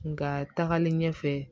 Nka tagalen ɲɛfɛ